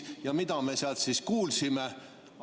Ja mida me sealt siis kuulsime?